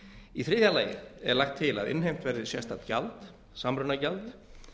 í þriðja lagi er lagt til að innheimt verði sérstakt gjald samrunagjald